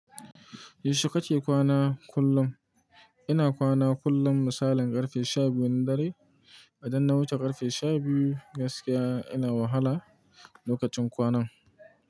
Yaushe kake kwana kullum? Ina kwana kullum misalin karfe sha biyun dare. Idan na wuce karfe sha biyu gaskiya ina wahala lokacin kwanan.